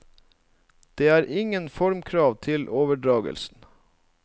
Det er ingen formkrav til overdragelsen.